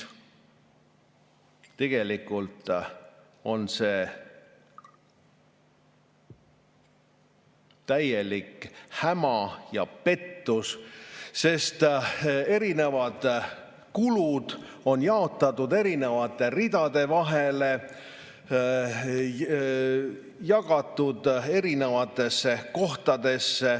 Tegelikult on see täielik häma ja pettus, sest erinevad kulud on jaotatud erinevate ridade vahele, erinevatesse kohtadesse.